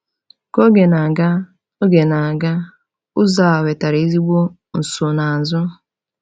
Ka oge na-aga, oge na-aga, ụzọ a wetara ezigbo nsonaazụ.